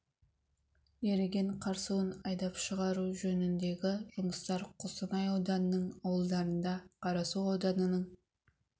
еріген қар суын айдап шығару жөніндегі жұмыстар қостанай ауданының ауылдарында қарасу ауданының